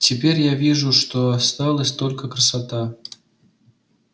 теперь я вижу что осталась только красота